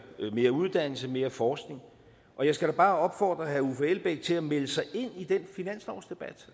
mere uddannelse og mere forskning jeg skal da bare opfordre herre uffe elbæk til at melde sig ind i den finanslovsdebat